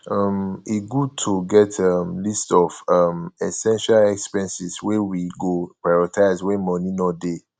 um e good to get um list of um essential expenses wey we go prioritize wen money no dey